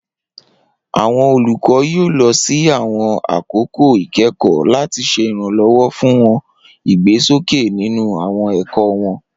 Awọn olukọ yoo lọ si awọn akoko ikẹkọ, lati ṣe iranlọwọ fun wọn igbesoke ninu awọn ẹkọ wọn.